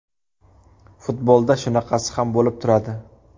Futbolda shunaqasi ham bo‘lib turadi”.